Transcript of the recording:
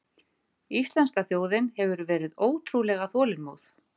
Íslenska þjóðin hefur verið ótrúlega þolinmóð